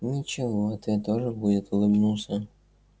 ничего ответ тоже будет улыбнулся